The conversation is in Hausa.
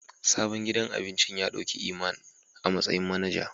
Sabon gidan abincin ya dauki Iman a matsayin manager.